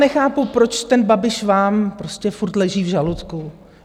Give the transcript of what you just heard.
Nechápu, proč ten Babiš vám prostě furt leží v žaludku.